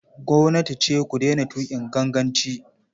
Gwamnati ce ku daina tuƙin ganganci.